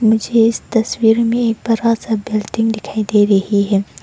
मुझे इस तस्वीर में एक बड़ा सा बिल्डिंग दिखाई दे रही है।